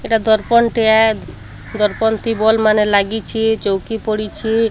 ଏଇଟା ଦର୍ପନ୍ ଟିୟେ ଦର୍ପନ୍ ଟି ବଲ୍ ମାନ ଲାଗିଛି ଚୌକି ପଡ଼ିଛି।